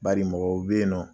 Bari mɔgow be ye nɔ